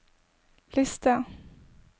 liste